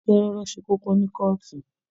Idakẹjẹ rọ̀rọ̀ ṣe kókó ni kọọtù.